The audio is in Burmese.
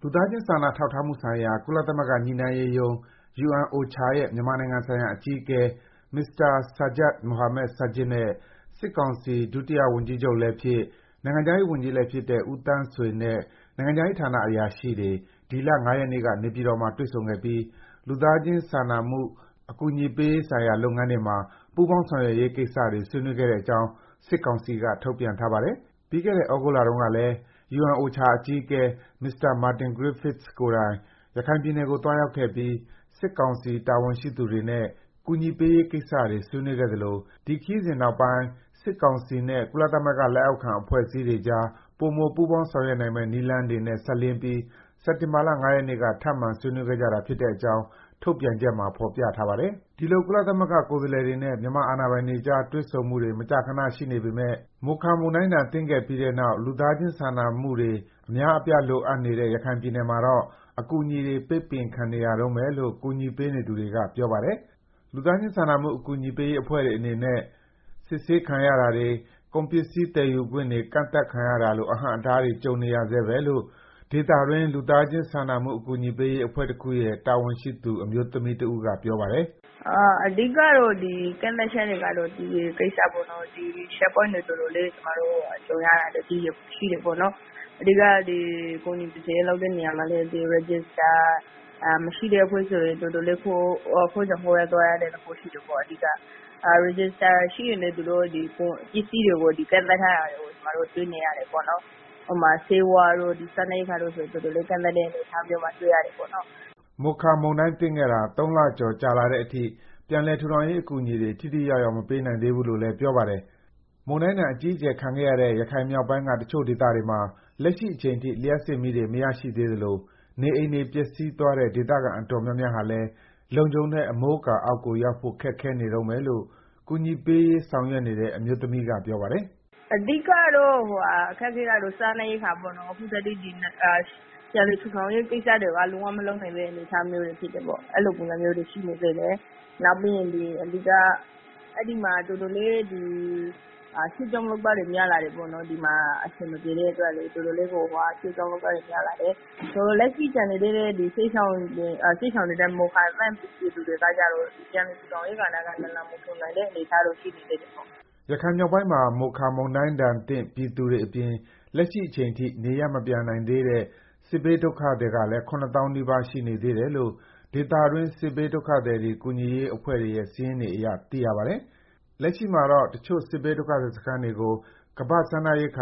လူသားချင်း စာနာထောက်ထားမှုဆိုင်ရာ ကုလသမဂ္ဂ ညှိနှိုင်းရေးရုံး UNOCHA ရဲ့ မြန်မာနိုင်ငံဆိုင်ရာ အကြီးအကဲ Mr. Sajjad Mohammad Sajid နဲ့ စစ်ကောင်စီ ဒုတိယဝန်ကြီးချုပ်နဲ့ နိုင်ငံခြားရေးဝန်ကြီး ဖြစ်တဲ့ ဦးသန်းဆွေနဲ့ နိုင်ငံခြားရေးဌာန အဆင့်မြင်အရာရှိတွေ ဒီလ ၅ ရက်နေ့က နေပြည်တော်မှာ တွေ့ဆုံခဲ့ပြီး လူသားချင်း စာနာကူညီရေးလုပ်ငန်းတွေမှာ ပူးပေါင်းဆောင်ရွက်ရေး ကိစ္စတွေ ဆွေးနွေးခဲ့တဲ့အကြောင်း စစ်ကောင်စီက ထုတ်ပြန်ထားပါတယ်။ ပြီးခဲ့တဲ့ သြဂုတ်လတုန်းကလည်း UNOCHA အကြီးအကဲ Mr. Martin Griffiths ကိုယ်တိုင် ရခိုင်ပြည်နယ်ကို သွားရောက်ခဲ့ပြီး စစ်ကောင်စီ တာဝန်ရှိသူတွေနဲ့ ကူညီပေးရေးကိစ္စတွေ ဆွေးနွေးခဲ့သလို၊ ဒီခရီးစဉ်နောက်ပိုင်း စစ်ကောင်စီ နဲ့ ကုလသမဂ္ဂနဲ့ လက်အောက်ခံ အဖွဲ့အစည်းတွေ ကြား ပိုမို ပူးပေါင်း ဆောင်ရွက်နိုင်မယ့် နည်းလမ်းတွေနဲ့ စပ်လျဉ်းပြီး စက်တင်ဘာလ ၅ ရက်နေ့က ထပ်မံ ဆွေးနွေးကြတာ ဖြစ်တဲ့အကြောင်း ထုတ်ပြန်ချက်မှာ ဖော်ပြထားပါတယ်။ ဒီလို ကုလ ကိုယ်စားလှယ်တွေနဲ့ မြန်မာအာဏာပိုင်တွေကြား တွေ့ဆုံမှုတွေ မကြာခန ရှိနေပေမဲ့လို မိုခါမုန်တိုင်းဒဏ် သင့်ခဲ့ပြီးတဲ့နောက် လူသားချင်း စာနာမှုတွေ အများအပြား လိုအပ်နေတဲ့ ရခိုင်ပြည်နယ်မှာတော့ အကူအညီတွေ ပိတ်ပင်ခံနေရတုန်းပဲလို့ ကူညီပေးနေသူတွေက ပြောပါတယ်။ လူသားချင်း စာနာကူညီရေးအဖွဲ့တွေအနေနဲ့ စစ်ဆေးခံရတာတွေ၊ ကုန်ပစ္စည်း သယ်ယူခွင့်တွေ ကန့်သတ်ခံရတာလို အဟန်အတားတွေ ကြုံနေရဆဲပဲလို့ ဒေသတွင်း လူသားချင်း စာနာကူညီရေး အဖွဲ့တခုရဲ့ တာဝန်ရှိသူအမျိုးသမီးတဦးက ပြောပါတယ်။ “အဓိက ကတော့ အကန့်အသတ်တွေကြုံရတာက TA ကိစ္စပေါ့နော်။ checkpoint တွေ တော်တော်လေးကျမတို့ ကြုံရတယ်။ ကူညီ ကယ်ဆယ်ရေး လုပ်တဲ့ အခါမှာလည်း Register မရှိတဲ့ အဖွဲ့ဆိုရင်တော်တော်လေး ခိုးကြောင်ခိုးဝှက်သွားရတဲ့ အနေအထားရှိတယ်။ Register ရှိတဲ့ အဖွဲ့တွေဆိုရင်လည်း ပစ္စည်းတွေကို ကန့်သတ်ထားတာ ကျမတို့ တွေ့ရတယ်။ ဆေးဝါးတို့ စားနပ်ရိက္ခာတို့ဆိုရင်လည်း တော်တော်လေးကန့်သတ်ထားတာ တွေ့ရတယ်။” မိုခါမုန်တိုင်းသင့်ခဲ့တာ ၃ လကျော် ကြာလတဲ့အထိ ပြန်လည် ထူထောင်ရေး အကူအညီတွေ ထိထိရောက်ရောက် မပေးနိုင်သေးဘူးလို့လည်း ပြောပါတယ်။ မုန်တိုင်းဒဏ် အကြီးအကျယ် ခံခဲ့ရတဲ့ ရခိုင်မြောက်ပိုင်းက တချို့ကျေးရွာတွေမှာ လက်ရှိအချိန်ထိ လျှပ်စစ်မီးတွေ မရရှိသေးသလို နေအိမ်တွေပျက်စီးသွားတဲ့ ဒေသခံ တော်တော်များများဟာလည်း လုံခြုံတဲ့ အမိုးအကာအောက်ကို ရောက်ဖို့ ခက်ခဲနေတုန်းပဲလို့ ကူညီပေးရေး ဆောင်ရွက်နေတဲ့ အမျိုးသမီးက ပြောပြပါတယ်။ “အဓိက အခက်အခဲကတော့ စားနပ်ရိက္ခာပေါ့နော်။ ပြန်လည်ထူထောင်ရေး လုပ်ငန်းတွေဆိုရင်လည်း အခုထက်ထိ မလုပ်ရသေးဘူး။ ပြန်လည်ထူထောင်ရေး လုပ်ငန်းတွေက လုံးဝမလုပ် နိုင်သေးတဲ့ အခြေအနေဖြစ်တယ်။ အဲလိုပုံစံမျိုးတွေ ရှိနေသေးတယ်။ ရွှေ့ပြောင်း လုပ်သားတွေများလာတယ်။ လက်ရှိ ကျန်နေသေးတဲ့ စစ်ရှောင်တွေနဲ့ မိုခါမုန်တိုင်း သင့်ပြည်သူတွေ ပြန် လည်ထူထောင်ရေးက နလန်မထူနိုင်သေးတဲ့ အခြေအနေ ရှိနေတယ်။” ရခိုင်မြောက်ပိုင်းမှာ မိုခါမုန်တိုင်းဒဏ်သင့် ပြည်သူတွေအပြင် လက်ရှိအချိန်ထိ နေရပ်မပြန်နိုင်သေးတဲ့ စစ်ဘေးဒုက္ခသည်ကလည်း ၇ သောင်းနီးပါး ရှိနေသေးတယ်လို့ ဒေသတွင်း စစ်ဘေးဒုက္ခသည် ကူညီရေးအဖွဲ့တွေရဲ့ စာရင်းအရ သိရပါတယ်။ လက်ရှိမှာတော့ တချို့စစ်ဘေးဒုက္ခစခန်း တွေကို WFP စားနပ်ရိက္